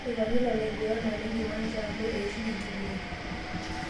Eipangita laiguranak tenkiwancha amu eishunye enkiguran.